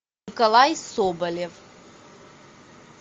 николай соболев